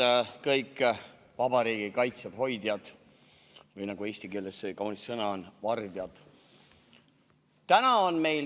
Head kõik vabariigi kaitsjad, hoidjad või nagu eesti keeles see kaunis sõna on – vardjad!